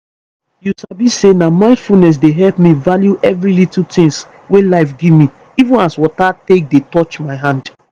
you sabi say na mindfulness dey help me value every little tins wey life gimme even as water take dey touch my body